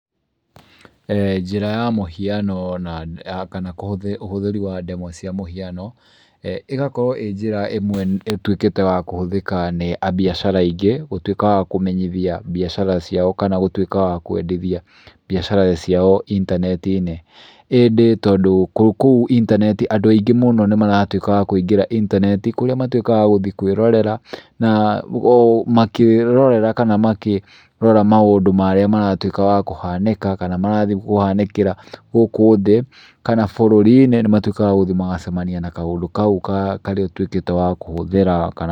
Njĩra ya mũhiano na kana kũhũthĩra, ũhũthĩri wa ndemwa cia mũhiano ĩgakorwo ĩ njĩra ĩmwe ĩtuĩkĩte ya kũhũthĩka nĩ ambiacara aingĩ, gũtuĩka wa kũmenyithia mbiacara ciao kana gũtuĩka wa kwendithia mbiacara ciao intaneti-inĩ. Ĩndĩ tondũ kũu intaneti andũ aingĩ mũno nĩ maratuĩka wa kũingĩra intaneti kũrĩa matuĩkaga wa gũthiĩ kwĩrorera na makĩrorera kana makĩrora maũndũ marĩa maratuĩka wa kũhanĩka kana marathiĩ kũhanĩkĩra gũkũ thĩ kana bũrũri-inĩ nĩ matuĩkaga wa gũthiĩ magacemania na kaũndũ kau karĩa ũtuĩkĩte wa kũhũthĩra kana,